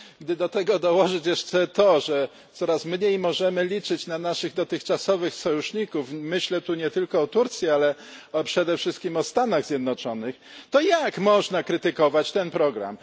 Gdy do tego dołożyć jeszcze fakt, że coraz mniej możemy liczyć na naszych dotychczasowych sojuszników myślę tu nie tylko o Turcji, ale przede wszystkim o Stanach Zjednoczonych to jak można krytykować ten program?